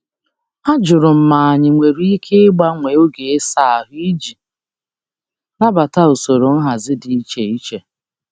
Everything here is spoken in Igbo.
Ajụrụ m ma anyị nwere ike ịgbanwe oge ịsa ahụ iji nabata usoro nhazi dị iche iche.